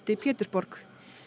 Pétursborg